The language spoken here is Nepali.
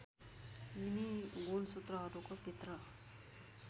यिनी गुणसूत्रहरूको भित्र